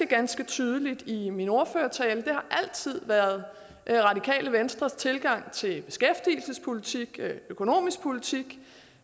ganske tydeligt i min ordførertale det har altid været radikale venstres tilgang til beskæftigelsespolitikken og den økonomiske politik